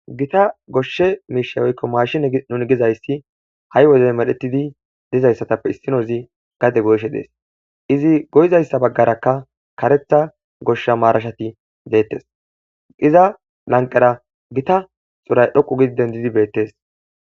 gita goshshe miisha woykko maashinenun gizayssi ha7i wodey medhetidi dizayssatappe issinozi gade goyshe dees izi goyizayssa baggarakka karetha gosha maarashati deettes iza lanqera gita xuray dhoqu gidi dendidi beettes